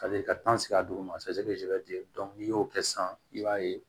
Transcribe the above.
Ka se ka sigi a duguma n'i y'o kɛ sisan i b'a ye